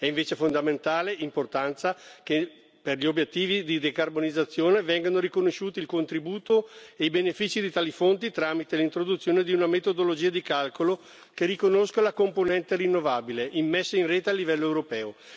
È invece di fondamentale importanza che per gli obiettivi di decarbonizzazione vengano riconosciuti il contributo e i benefici di tali fondi tramite l'introduzione di una metodologia di calcolo che riconosca la componente rinnovabile immessa in rete a livello europeo.